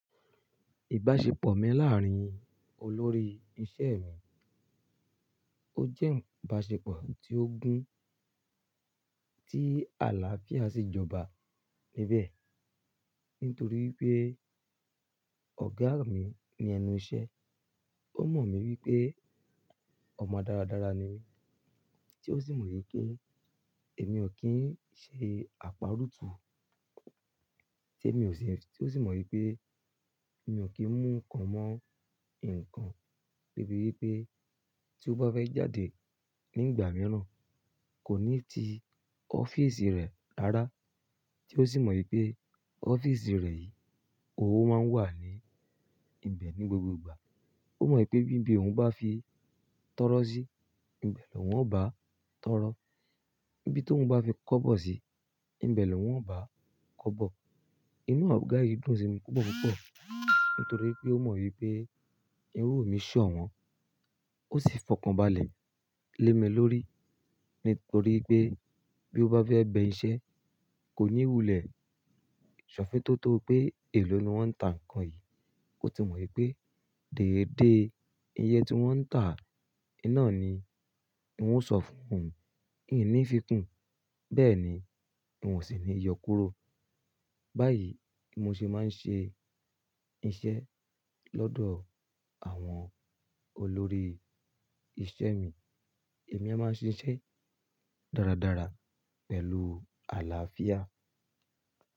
Ìbáṣepọ̀ mi láàárín olórí isẹ́ mi, ó jẹ́ ìbáṣepọ̀ tí ó gún, tí àlàáfíà sì jọba níbẹ̀. Nítorí pé ọ̀gá mi ní ẹnu isẹ́, ó mọ̀ mí wípé ọmọ dáradára ni mí tí ó sì mọ̀ wípé èmi ò kí ń ṣe àparutú, tí ó sì mọ̀ wípé mi ò kí ń mú nnkan mọ́ nǹkan, torí pé tí ó bá fẹ́ jáde nígbà mìíràn kò ní ti ọ́fíísì rẹ̀ ráaráa. Tí ó sì mọ̀ wípé ọ́fíìsì rẹ̀ yìí, òun máa ń wà ní ibẹ̀ ní gbogbo ìgbà. Ó mọ̀ wípé bí ibi òun bá fi tọrọ sí, ibẹ̀ lọ̀wọ́ ń bá tọrọ. Bí tóun bá fi kọ́bọ̀ sí, ibẹ̀ lọ̀wọ́ ń bá kọ́bọ̀. Inú ọ̀gá yìí dùn sí mi púpọ̀púpọ̀, nítorí pé ó mọ̀ wípé irú mi ṣọ̀wọ́n. Ó sì fọkànbalẹ̀ lé mi lórí, nítorí pé bí ó bá fẹ́ bẹ isẹ́, kò ní ìwúlẹ̀ ṣọ̀fẹ́ tó tó pé èyí ló ni wọ́n ń tà ǹkan yìí. Ó ti mọ̀ wípé dèédèé iye tí wọ́n ń tà iná ni. N ó sọ fún òun uní fikún, bẹ́ẹ̀ ni n ò sì ní yọ kúrò. Báyìí, mo sì máa ń ṣe iṣẹ́ lọ́dọ̀ àwọn olórí isẹ́ mi. Èmi a máa ṣe iṣẹ́ dáradára pẹ̀lú àlàáfíà.